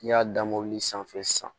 N'i y'a da mobili sanfɛ sisan